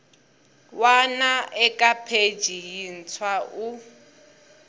wana eka pheji yintshwa u